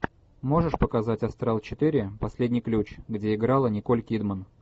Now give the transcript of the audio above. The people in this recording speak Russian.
можешь показать астрал четыре последний ключ где играла николь кидман